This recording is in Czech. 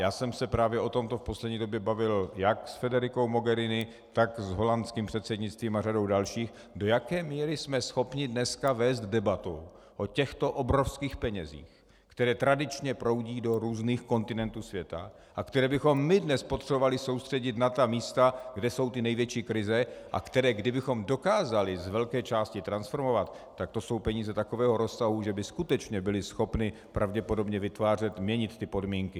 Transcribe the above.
Já jsem se právě o tomto v poslední době bavil jak s Federicou Mogherini, tak s holandským předsednictvím a řadou dalších, do jaké míry jsme schopni dneska vést debatu o těchto obrovských penězích, které tradičně proudí do různých kontinentů světa a které bychom my dnes potřebovali soustředit na ta místa, kde jsou ty největší krize, a které kdybychom dokázali z velké části transformovat, tak to jsou peníze takového rozsahu, že by skutečně byly schopny pravděpodobně vytvářet, měnit ty podmínky.